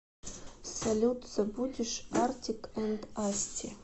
салют забудешь артик энд асти